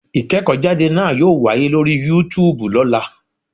Ìkéèkó jáde náa yóò wáyé lórí Yúutùbù lọ́lá